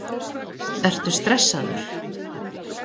Ertu stressaður?